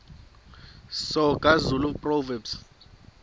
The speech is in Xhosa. soga zulu proverbs